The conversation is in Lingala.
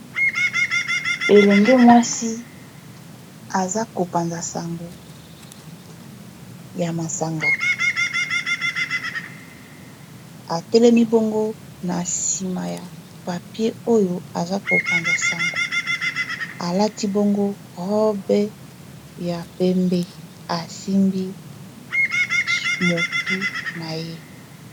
elenge mwasi aza kopanza sango ya masanga atelemi bongo na sima ya papier oyo aza kopanza sango alati bongo robe ya pembe asimbi motu na ye